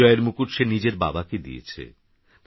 এইবিজয়েরমুকুটসেনিজেরবাবাকেদিয়েছে